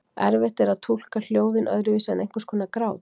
Erfitt er að túlka hljóðin öðruvísi en einhvers konar grát.